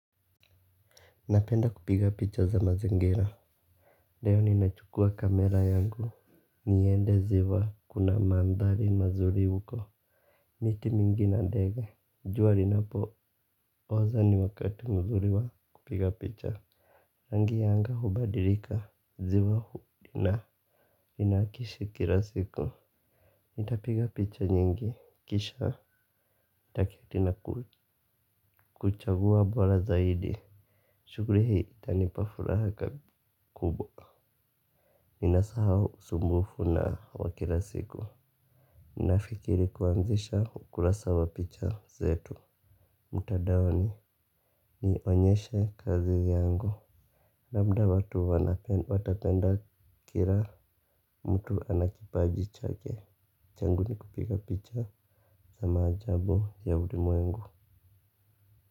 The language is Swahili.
Napenda kupiga picha za mazingira. Dio ninachukua kamera yangu. Niende ziwa kuna mandhali mazuri uko. Miti mingi na dege. Jua linapo oza ni wakati mzuri wa kupiga picha. Rangi yanga hubadilika ziwa hudina. Inakishi kila siku. Nitapiga picha nyingi. Kisha takia tina kuchagua bora zaidi. Shuguri hii itanipa furaha kubwa. Ninasahau sumufu na wakila siku. Nafikiri kuanzisha ukurasa wa picha zetu Mutadaoni. Ni onyeshe kazi yangu. Labda watu watapenda kira mtu anakipaji chake. Changu ni kupiga picha. Zama ajabu ya ulimwengu.